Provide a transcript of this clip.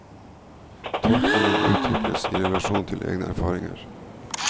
Tolkningen utvikles i relasjon til egne erfaringer.